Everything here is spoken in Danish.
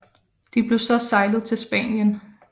De blev så sejlet til Spanien